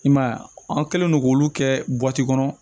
I m'a ye an kɛlen do k'olu kɛ kɔnɔ